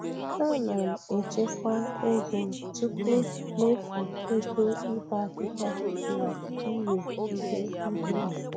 Ana m echekwa ego tupu mmefu ego ịbọ ahịhịa na iwe ihe ubi.